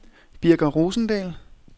Birger Rosendahl